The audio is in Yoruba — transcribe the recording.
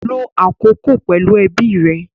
Lo akoko pẹlu ẹbi rẹ.